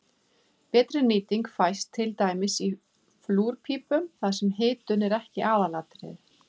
Betri nýting fæst til dæmis í flúrpípum þar sem hitun er ekki aðalatriðið.